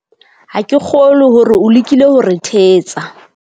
ha ke kgolwe hore o lekile ho re thetsa